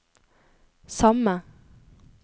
samme